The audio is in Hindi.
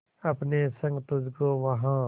अपने संग तुझको वहां